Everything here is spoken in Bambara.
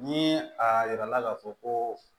Ni a yirala k'a fɔ ko